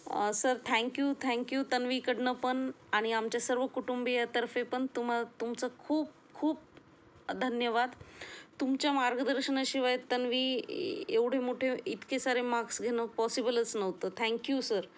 आह sir thank you thank you तन्वीकडून पण आणि आमच्या सर्व कुटुंबियांतर्फे पण तुम्हाला तुमचा खूप खूप धन्यवाद. तुमच्या मार्गदर्शनाशिवाय तन्वी एवढे मोठे इतके सारे मार्क्स घेणं पॉसिबलचं नव्हते, थँक यू सर.